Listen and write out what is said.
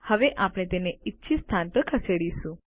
હવે આપણે તેમને ઇચ્છિત સ્થાન પર ખસેડીશું